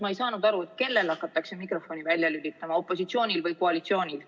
Ma ei saanud aru, kellel hakatakse mikrofoni välja lülitama – opositsioonil või koalitsioonil.